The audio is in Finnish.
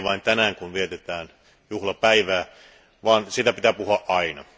Ei vain tänään kun vietetään juhlapäivää, vaan siitä pitää puhua aina.